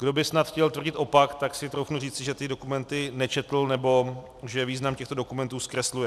Kdo by snad chtěl tvrdit opak, tak si troufnu říci, že ty dokumenty nečetl nebo že význam těchto dokumentů zkresluje.